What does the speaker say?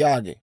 yaagite.